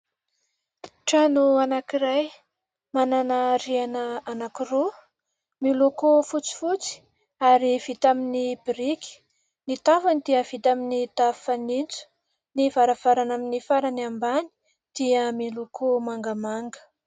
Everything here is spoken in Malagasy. Trano anankiray manana rihana anankiroa miloko fotsifotsy ary vita amin'ny biriky. Ny tafony dia vita amin'ny tafo fanintso, ny varavarana amin'ny farany ambany dia miloko mangamanga.